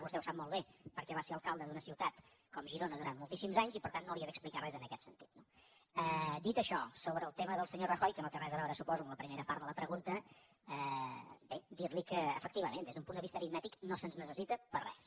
vostè ho sap molt bé perquè va ser alcalde d’una ciutat com girona durant moltíssims anys i per tant no li he d’explicar res en aquest sentit no dit això sobre el tema del senyor rajoy que no té res a veure suposo amb la primera part de la pregunta bé dir li que efectivament des d’un punt de vista aritmètic no se’ns necessita per a res